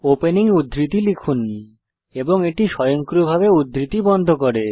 opening উদ্ধৃতি লিখুন এবং এটি স্বয়ংক্রিয়ভাবে উদ্ধৃতি বন্ধ করে